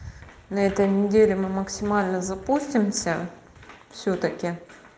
на этой неделе мы максимально запустимся всё-таки